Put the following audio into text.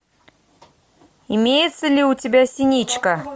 имеется ли у тебя синичка